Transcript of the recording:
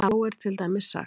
Þá er til dæmis sagt: